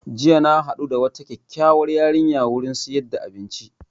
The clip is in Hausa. Jiya na haɗu da wata kyakyauwar yarinya wurin siyar da abinci